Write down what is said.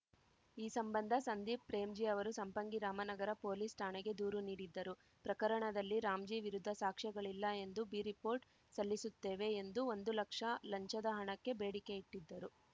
ಈ ಸಂಬಂಧ ಸಂದೀಪ್‌ ಪ್ರೇಮ್‌ಜೀ ಅವರು ಸಂಪಂಗಿ ರಾಮನಗರ ಪೊಲೀಸ್‌ ಠಾಣೆಗೆ ದೂರು ನೀಡಿದ್ದರು ಪ್ರಕರಣದಲ್ಲಿ ರಾಮ್‌ಜೀ ವಿರುದ್ಧ ಸಾಕ್ಷ್ಯಗಳಿಲ್ಲ ಎಂದು ಬಿ ರಿಪೋರ್ಟ್‌ ಸಲ್ಲಿಸುತ್ತೇವೆ ಎಂದು ಒಂದು ಲಕ್ಷ ಲಂಚದ ಹಣಕ್ಕೆ ಬೇಡಿಕೆ ಇಟ್ಟಿದ್ದರು